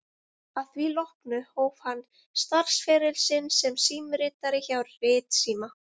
Að því loknu hóf hann starfsferil sinn sem símritari hjá Ritsíma